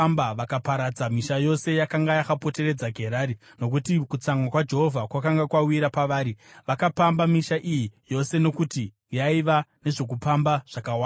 Vakaparadza misha yose yakanga yakapoteredza Gerari, nokuti kutsamwa kwaJehovha kwakanga kwawira pavari. Vakapamba misha iyi yose, nokuti yaiva nezvokupamba zvakawanda.